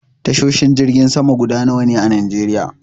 Tashoshin jirgin sama guda nawa ne a najeriya?